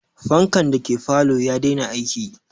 Fankan dake falo ya dena aiki